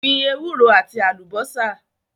Gbin ewúro àti àlùbásà